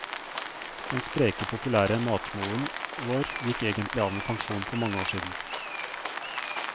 Den spreke populære matmoren vår gikk egentlig av med pensjon for mange år siden.